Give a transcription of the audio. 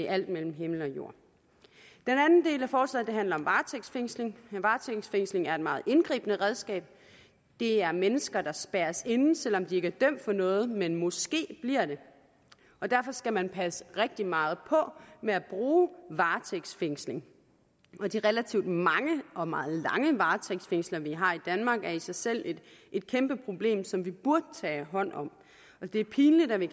alt mellem himmel og jord den anden del af forslaget handler om varetægtsfængsling varetægtsfængsling er et meget indgribende redskab det er mennesker der spærres inde selv om de ikke er dømt for noget men måske bliver det og derfor skal man passe rigtig meget på med at bruge varetægtsfængsling de relativt mange og meget lange varetægtsfængslinger vi har i danmark er i sig selv et kæmpe problem som vi burde tage hånd om det er pinligt at vi